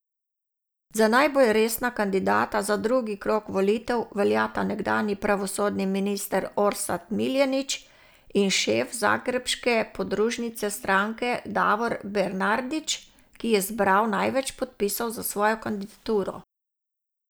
Za najbolj resna kandidata za drugi krog volitev veljata nekdanji pravosodni minister Orsat Miljenić in šef zagrebške podružnice stranke Davor Bernardić, ki je zbral največ podpisov za svojo kandidaturo.